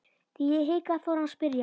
Þegar ég hikaði fór hann að spyrja.